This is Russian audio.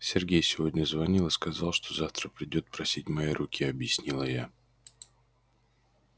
сергей сегодня звонил и сказал что завтра придёт просить моей руки объяснила я